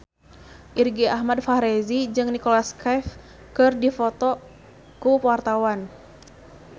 Irgi Ahmad Fahrezi jeung Nicholas Cafe keur dipoto ku wartawan